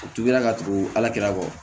U tugula ka tugu ala kira kɔ